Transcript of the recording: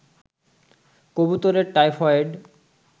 কবুতরের টাইফয়েড